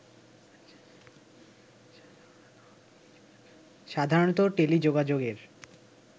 সাধারণত টেলিযোগাযোগের